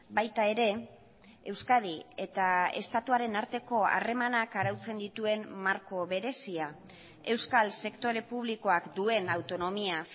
baita ere euskadi eta estatuaren arteko harremanak arautzen dituen marko berezia euskal sektore publikoak duen autonomia